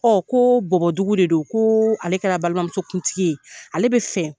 ko bɔbɔdugu de don, ko ale kɛra balimamuso kuntigi ye. Ale bɛ fɛ